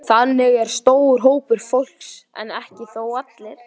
Þannig er stór hópur fólks, en ekki þó allir.